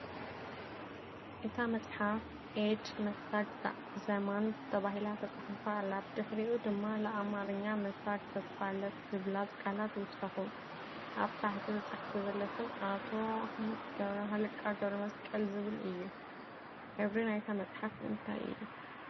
እታ መጽሓፍ "ኤድ መሳግ ዘማንት" ተባሂላ ተጻሒፋ ኣላ፡ ብድሕሪኡ ድማ "ለ ኣምሓርኛ መሳግ ተስፋለት" ዝብላ ቃላት ይውሰኹ። ኣብ ታሕቲ ተጻሒፉ ዘሎ ስም "ኣቶ ሃ.ኣ. ገብረ መስቀል" ዝብል እዩ። ሕብሪ ናይታ መጽሓፍ እንታይ እዩ